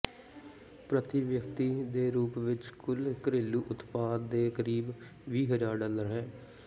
ਪ੍ਰਤੀ ਵਿਅਕਤੀ ਦੇ ਰੂਪ ਵਿੱਚ ਕੁੱਲ ਘਰੇਲੂ ਉਤਪਾਦ ਦੇ ਕਰੀਬ ਵੀਹ ਹਜ਼ਾਰ ਡਾਲਰ ਹੈ